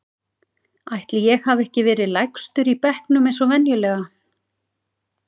Ætli ég hafi ekki verið lægstur í bekknum eins og venjulega.